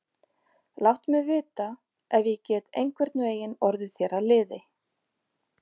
Láttu mig vita, ef ég get einhvern veginn orðið þér að liði.